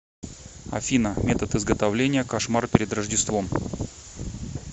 афина метод изготовления кошмар перед рождеством